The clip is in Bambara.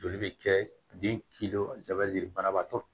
Joli bɛ kɛ den banabaatɔ